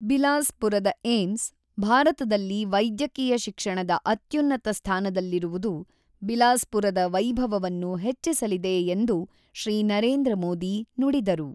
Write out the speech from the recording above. ಬಿಲಾಸ್ ಪುರದ ಏಮ್ಸ್ ಭಾರತದಲ್ಲಿ ವೈದ್ಯಕೀಯ ಶಿಕ್ಷಣದ ಅತ್ಯುನ್ನತ ಸ್ಥಾನದಲ್ಲಿರುವುದು ಬಿಲಾಸ್ಪುರದ ವೈಭವವನ್ನು ಹೆಚ್ಚಿಸಲಿದೆ ಎಂದು ಶ್ರೀ ನರೇಂದ್ರ ಮೋದಿ ನುಡಿದರು.